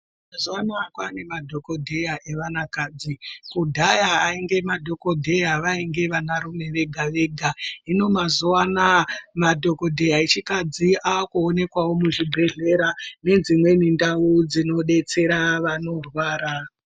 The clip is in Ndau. Mazuva ano Kane madhokodheya evana vadoko Kudhaya vainge madhokodheya vainge vana rume Vega Vega hino mazuva anawa madhokodheya akadzi akuonekwawo zvibhedhlera nezvimweni ndau dzinobetsera vanorwara.